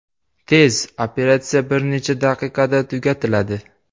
Tez: operatsiya bir necha daqiqada tugatiladi.